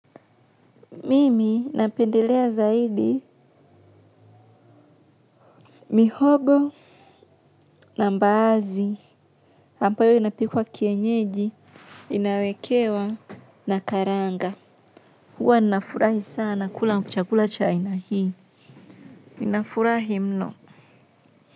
Mimi napendelea zaidi mihogo na mbaazi, ambayo inapikwa kienyeji, inawekewa na karanga. Huwa ninafurahi sana kula kuchakula cha ina hii. Ninafurahi mno.